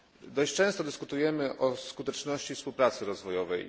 Dość często dyskutujemy o skuteczności współpracy rozwojowej.